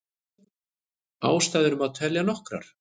Ástæður má telja nokkrar.